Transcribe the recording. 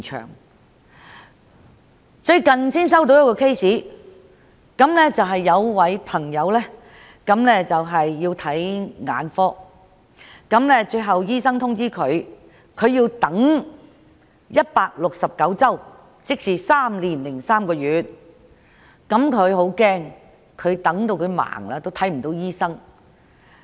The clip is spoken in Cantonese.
我最近接獲一宗求助個案，有一位市民需要向眼科醫生求診，但卻獲告知須等候169周，即3年3個月，他很擔心等到眼睛瞎了也未能見到醫生。